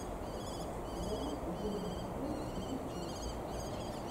вайн димонтв ютьюб